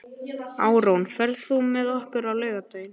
Árún, ferð þú með okkur á laugardaginn?